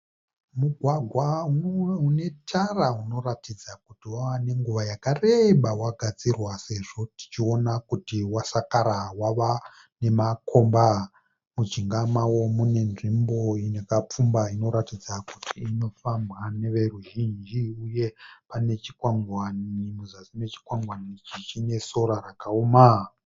Mugwagwa unetara unoratidza kuti wava nenguva yakareba wakagadzirwa sezvo tichiona kuti wasakara wava nemakomba. Mujinga mawo mune nzvimbo yakapfumba inoratidza kuti inofambwa neve ruzhinji uye pane chingwani muzasi mechikwangwani ichi chine sora rakaoma.